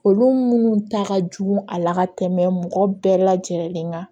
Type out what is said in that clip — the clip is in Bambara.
Olu minnu ta ka jugu a la ka tɛmɛ mɔgɔ bɛɛ lajɛlen kan